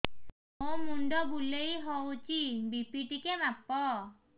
ମୋ ମୁଣ୍ଡ ବୁଲେଇ ହଉଚି ବି.ପି ଟିକେ ମାପ